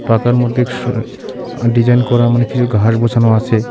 পাকার মধ্যে শ ডিজাইন করা মানে কিছু ঘাস বসানো আছে.